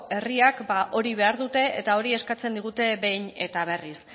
herriak ba hori behar dute eta hori eskatzen digute behin eta berriz